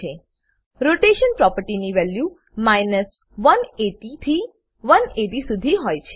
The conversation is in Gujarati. રોટેશન રોટેશન પ્રોપર્ટીની વેલ્યુ 180 થી 180 શુધી હોય છે